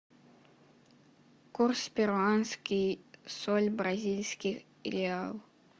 курс перуанский соль бразильский реал